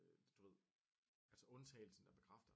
Du ved altså undtagelsen der bekræfter